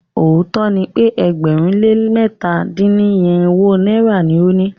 Òótó ni pe ẹgbẹ̀rún lé lẹ̀ta dín ní irinwó náírà ni o ni.